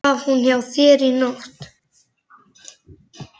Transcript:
Svaf hún hjá þér í nótt?